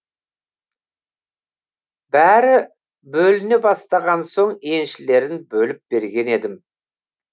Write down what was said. бәрі бөліне бастаған соң еншілерін бөліп берген едім